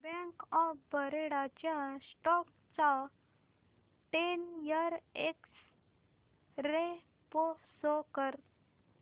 bank of Baroda च्या stock चा ten year x ray pro show कर